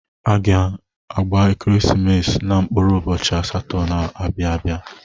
A ga-gba Ekeresimesi na mkpụrụ ụbọchị asatọ na-abịa abịa.